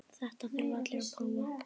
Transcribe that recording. Þetta þurfa allir að prófa.